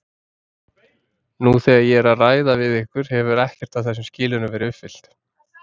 Nú þegar ég er að ræða við ykkur hefur ekkert af þessum skilyrðum verið uppfyllt.